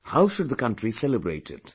How should the country celebrate it